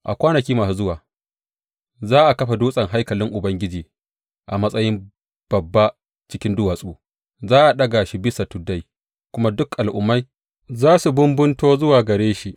A kwanaki masu zuwa za a kafa dutsen haikalin Ubangiji a matsayin babba cikin duwatsu; za a daga shi bisa tuddai, kuma dukan al’ummai za su bumbunto zuwa gare shi.